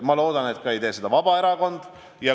Ma loodan, et seda ei tee ka Vabaerakond.